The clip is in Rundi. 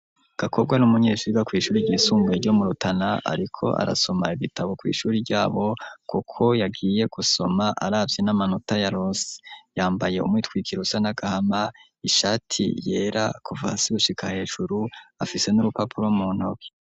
Gakobwa ni umunyeshuri yiga kw'ishuri ryisumbuye ryo mu Rutana, ariko arasoma ibitabo kw'ishuri ryabo, kuko yagiye gusoma aravye n'amanota yaronse. Yambaye umwitwikiro usa n'agahama, ishati yera kuva hasi gushika hejuru, afise n'urupapuro muntoke.